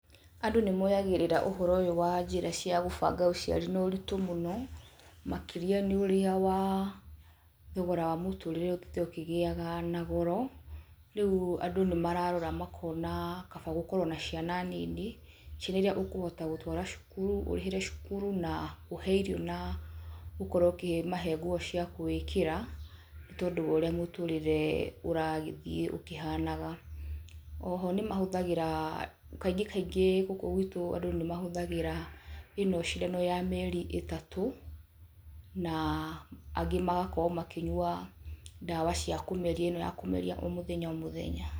Andũ nĩmoyagĩrĩraga ũhoro ũyũ wa njĩra cia gũbanga ũciari na ũritũ mũno, makĩria nĩ ũrĩa wa thogora wa mũtũrĩre ũthiĩte ũkĩgĩaga na goro, rĩu andũ nĩ mararora makona kaba gũkorwo na ciana nini. Ciana iria ũkũhota gũtũara cukuru, ũrĩhĩre cukuru, na ũhe irio na ũkorwo ũkĩmahe nguo cia gũĩkĩra nĩ tondũ wa ũrĩa mũtũrĩre ũragĩthiĩ ũkĩhanaga. Oho nĩmahũthagĩra, kaingĩ kaingĩ gũkũ gwitũ andũ nĩmahũthagĩra ĩno cindano ya mĩeri ĩtatũ, na angĩ magakorwo makĩnyua ndawa ciakũmeria, ĩno ya kũmeria o mũthenya o mũthenya.